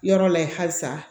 Yɔrɔ layi halisa